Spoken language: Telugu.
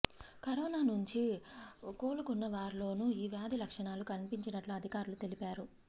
కరోనా నుంచి కోలుకున్నవారిలోనూ ఈ వ్యాధి లక్షణాలు కన్పించినట్లు అధికారులు తెలిపారు